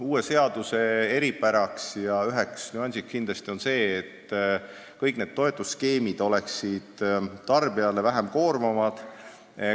Üks nüanss selle uue seaduse puhul on kindlasti see, et kõik need toetusskeemid tähendavad tarbijale väiksemat koormat.